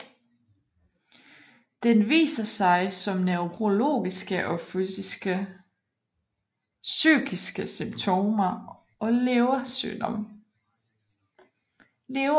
Den viser sig som neurologiske og psykiske symptomer og leversygdom